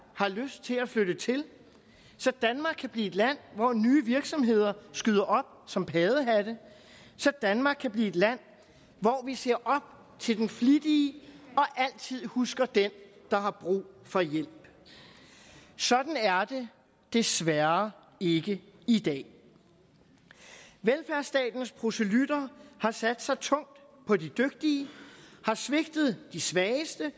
har lyst til at flytte til så danmark kan blive et land hvor nye virksomheder skyder op som paddehatte så danmark kan blive et land hvor vi ser op til den flittige og altid husker den der har brug for hjælp sådan er det desværre ikke i dag velfærdsstatens proselyttere har sat sig tungt på de dygtige har svigtet de svageste